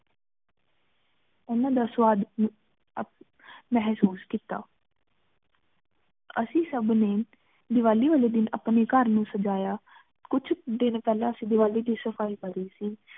ਓਹ੍ਨ੍ਦਾ ਦਾ ਸਵਾਦ ਮੇਹ੍ਸੂਸ ਕੀਤਾ ਅੱਸੀ ਸਬ ਨੀ ਦਿਵਾਲੀ ਵਾਲੀ ਦਿਨ ਅਪਨੀ ਘਰ ਨੂ ਸਜਾਯਾ ਕਚ ਦਿਨ ਪਹਲਾ ਅੱਸੀ ਦਿਵਾਲੀ ਦੀ ਸਫਾਈ ਪਢ਼ੀ ਸੀ